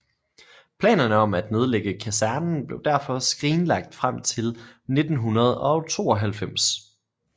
Planerne om at nedlægge kasernen blev derfor skrinlagt frem til 1995